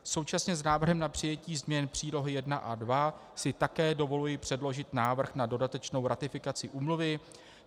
Současně s návrhem na přijetí změn přílohy I a II si také dovoluji předložit návrh na dodatečnou ratifikaci úmluvy.